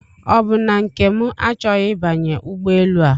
Ọbụ na Nkem achọghị ịbanye ụgbọ enu a?